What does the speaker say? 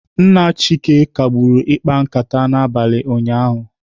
Nna Chike kagburu ịkpa nkata n'abalị ụnyaahụ.